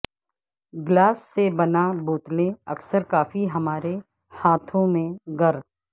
glass سے بنا بوتلیں اکثر کافی ہمارے ہاتھوں میں گر